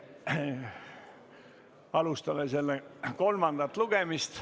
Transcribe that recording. Alustame selle kolmandat lugemist.